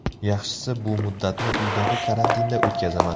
Yaxshisi bu muddatni uydagi karantinda o‘tkazaman.